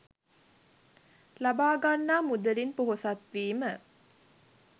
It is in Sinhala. ලබා ගන්නා මුදලින් පොහොසත් වීම